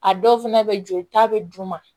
A dɔw fɛnɛ be jolita bɛ d'u ma